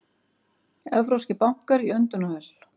Evrópskir bankar í öndunarvél